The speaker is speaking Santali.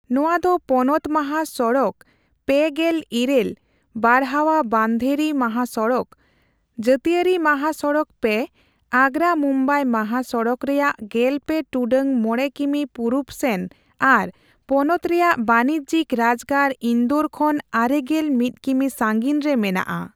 ᱱᱚᱣᱟ ᱫᱚ ᱯᱚᱱᱚᱛ ᱢᱟᱦᱟ ᱥᱚᱲᱚᱠᱼ᱓᱘ (ᱵᱟᱨᱣᱟᱦᱟᱼᱵᱟᱱᱫᱷᱮᱨᱤ ᱢᱟᱦᱟ ᱥᱚᱲᱚᱠ), ᱡᱟᱹᱛᱤᱭᱟᱹᱨᱤ ᱢᱟᱦᱟ ᱥᱚᱲᱚᱠᱼ᱓ (ᱟᱜᱽᱨᱟᱼᱢᱩᱢᱵᱟᱭ ᱢᱟᱦᱟ ᱥᱚᱲᱚᱠ) ᱨᱮᱭᱟᱜ ᱜᱮᱞᱯᱮ ᱴᱩᱰᱟᱹᱜ ᱢᱚᱲᱮ ᱠᱤᱢᱤ ᱯᱩᱨᱩᱵ ᱥᱮᱱ ᱟᱨ ᱯᱚᱱᱚᱛ ᱨᱮᱭᱟᱜ ᱵᱟᱹᱱᱤᱡᱽᱡᱤᱠ ᱨᱟᱡᱽᱜᱟᱲ ᱤᱱᱫᱳᱨ ᱠᱷᱚᱱ ᱟᱨᱮᱜᱮᱞ ᱢᱤᱛ ᱠᱤᱢᱤ ᱥᱟᱺᱜᱤᱧᱨᱮ ᱢᱮᱱᱟᱜᱼᱟ ᱾